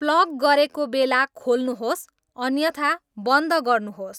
plug गरेको बेला खोल्नुहोस् अन्यथा बन्द गर्नुहोस्